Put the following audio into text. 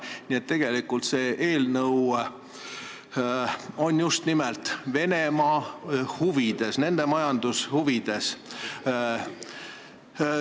Nii et tegelikult on see eelnõu just nimelt Venemaa ja Vene majanduse huvides.